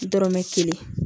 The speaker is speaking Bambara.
Dɔrɔmɛ kelen